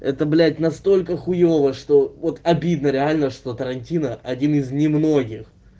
это блять настолько хуёво что вот обидно реально что тарантино один из немногих